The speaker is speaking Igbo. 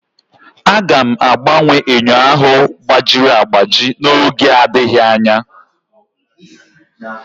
Aga m agbanwe enyo ahụ gbajiri agbaji n'oge adịghị anya